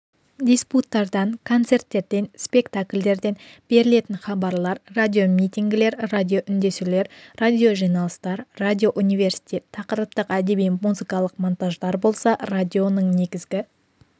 диспуттардан концерттерден спектакльдерден берілетін хабарлар радиомитингілер радиоүндесулер радиожиналыстар радиоуниверситет тақырыптық әдеби-музыкалық монтаждар болса радионың негізгі